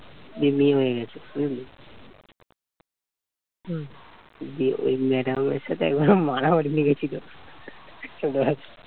দিয়ে মেয়ে হয়ে গেছে বুঝলি দিয়ে ওই madam এর সাথে একবার মারামারি লেগেছিল এবার